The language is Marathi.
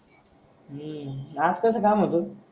हम्म आज कस काम होत?